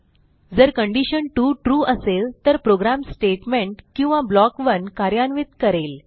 जर condition 2 true असेल तर प्रोग्रॅम स्टेटमेंट किंवा ब्लॉक 1 कार्यान्वित करेल